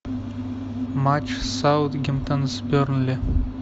матч саутгемптон с бернли